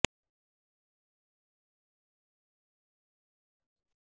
मकर राशीचे लोकांचा आज बहुप्रतीक्षित आणि महत्त्वपूर्ण कॉन्ट्रॅक्ट पूर्ण होण्याची शक्यता आहे